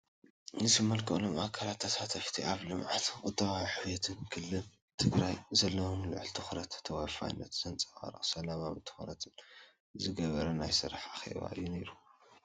ዝምልከቶም ኣካላትን ተሳተፍቲን ኣብ ልምዓትን ቁጠባዊ ዕብየትን ክልል ትግራይ ዘለዎም ልዑል ትኹረትን ተወፋይነትን ዘንፀባርቕ ሰላማውን ትኹረት ዝገበረን ናይ ስራሕ ኣኼባ እዩ ነይሩ።